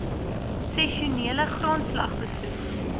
sessionele grondslag besoek